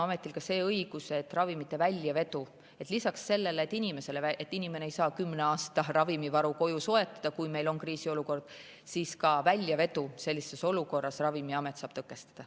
Aga Ravimiametil on lisaks sellele, et inimene ei saa kümne aasta ravimivaru koju soetada, kui meil on kriisiolukord, õigus ka väljavedu sellises olukorras tõkestada.